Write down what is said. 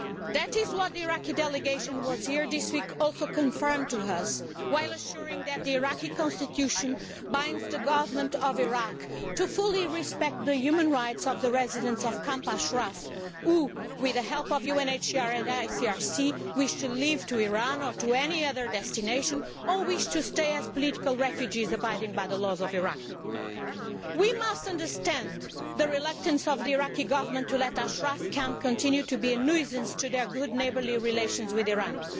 That is what the Iraqi delegation which was here this week also confirmed to us, while assuring us that the Iraqi constitution binds the Government of Iraq to fully respect the human rights of the residents of Camp Ashraf, who, with the help of UNHCR and ICRC, wish to leave for Iran or any other destination, or wish to stay as political refugees abiding by the laws of Iraq. We must understand the reluctance of the Iraqi Government to let Camp Ashraf continue to be a nuisance to their good neighbourly relations with Iran.